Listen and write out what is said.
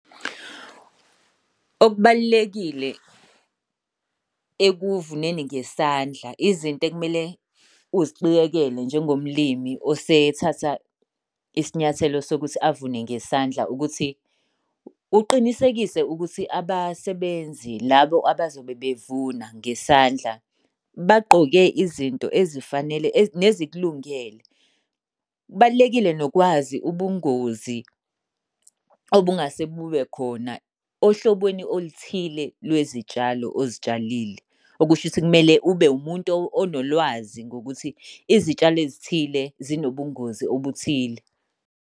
Okubalulekile ekuvuneni ngesandla, izinto ekumele uziqikekele njengomlimi osethatha isinyathelo sokuthi avune ngesandla ukuthi uqinisekise ukuthi abasebenzi labo abazobe bevuna ngesandla, bagqoke izinto ezifanele nezikulungele. Kubalulekile nokwazi ubungozi obungase bube khona ohlobeni oluthile lwezitshalo ozitshalile. Okusho ukuthi kumele ube wumuntu onolwazi ngokuthi izitshalo ezithile zinobungozi obuthile.